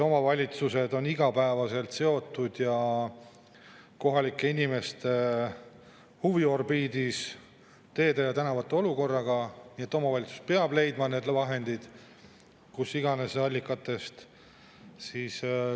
Omavalitsused aga on igapäevaselt seotud kohalike inimeste huviorbiidis olevate teede ja tänavate olukorraga, nii et omavalitsus peab selleks leidma vahendid kust iganes allikatest.